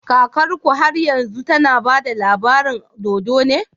Kakarku har yanzu tAna bada labarin dodo?